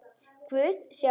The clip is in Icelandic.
Guð, sjáiði!